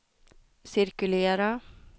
cirkulera